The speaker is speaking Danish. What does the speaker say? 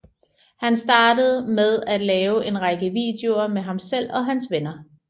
Han startede med at lave en række videoer med ham selv og hans venner